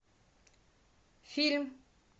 фильм